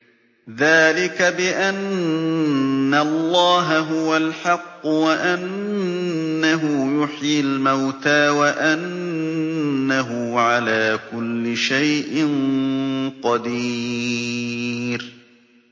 ذَٰلِكَ بِأَنَّ اللَّهَ هُوَ الْحَقُّ وَأَنَّهُ يُحْيِي الْمَوْتَىٰ وَأَنَّهُ عَلَىٰ كُلِّ شَيْءٍ قَدِيرٌ